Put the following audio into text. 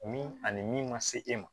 Min ani min ma se e ma